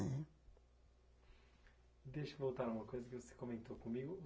É. Deixa eu voltar a uma coisa que você comentou comigo.